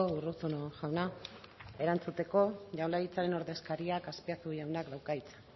urruzuno jauna erantzuteko jaurlaritzaren ordezkariak azpiazu jaunak dauka hitza